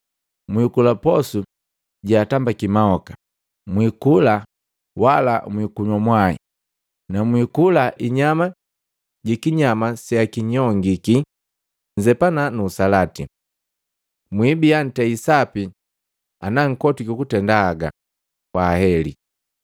Mwikula posu jeatambaki mahoka, mwikula wala mwiikunywa mwai na mwikula inyama jikinyama seakinyongiki nzepana usalati. Mwibia ntei sapi ana nkotwiki kutenda haga. Kwaheli!”